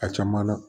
A caman na